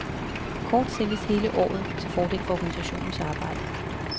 Kort sælges hele året til fordel for organisationens arbejde.